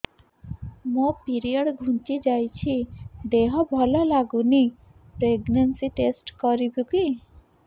ମୋ ପିରିଅଡ଼ ଘୁଞ୍ଚି ଯାଇଛି ଦେହ ଭଲ ଲାଗୁନି ପ୍ରେଗ୍ନନ୍ସି ଟେଷ୍ଟ କରିବୁ କି